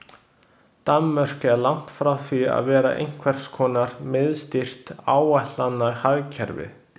Danmörk er langt frá því að vera einhvers konar miðstýrt áætlanahagkerfi.